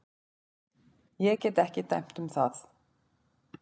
Ég get ekki dæmt um það.